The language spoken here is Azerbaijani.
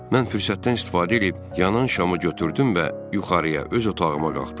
Mən fürsətdən istifadə eləyib yanan şamı götürdüm və yuxarıya öz otağıma qalxdım.